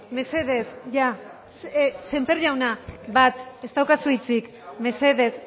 mesedez ya sémper jauna bat ez daukazu hitzik mesedez